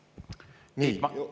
– Kõneleja hilisem täiendus.